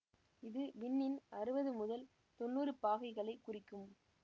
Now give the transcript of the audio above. இது விண்ணின் அறுபது முதல் தொன்னூறு பாகைகளை குறிக்கும்